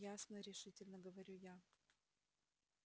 ясно решительно говорю я